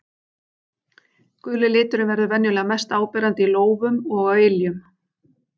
Guli liturinn verður venjulega mest áberandi í lófum og á iljum.